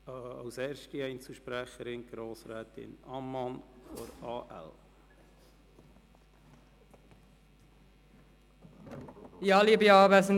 Als erste Einzelsprecherin hat Grossrätin Ammann von der AL das Wort.